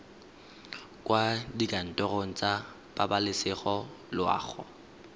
kwa dikantorong tsa pabalesego loago